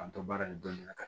K'an to baara in dɔnili la